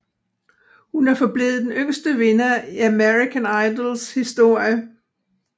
Hun er forblevet den yngste vinder i American Idols historie